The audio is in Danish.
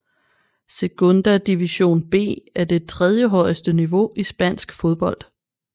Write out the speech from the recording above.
Segunda División B er det tredjehøjeste niveau i spansk fodbold